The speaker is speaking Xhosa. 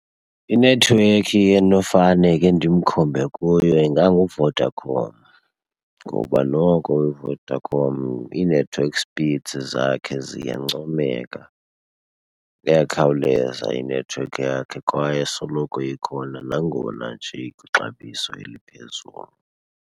Inethiwekhi endinofane ke ndimkhombe kuyo inganguVodacom ngoba noko uVodacom ii-network speeds zakhe ziyancomeka. Iyakhawuleza inethiwekhi yakhe kwaye isoloko ikhona nangona nje ikwixabiso eliphezulu.